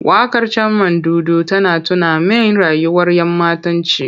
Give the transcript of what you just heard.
Waƙar Carmandudu tana tuna min rayuwar ‘yammatanci.